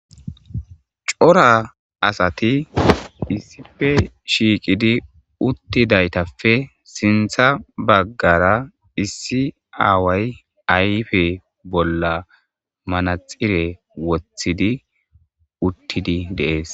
Cora asati issippe Shiqidi uttidi sinthan bagara Issi away sinthan bagara awar ayfe Manaxire wothidi uttidi de'es